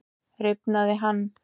Rifnaði hann?